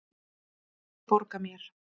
Hann vildi borga mér!